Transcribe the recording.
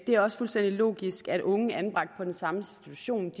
det er også fuldstændig logisk at unge der er anbragt på den samme institution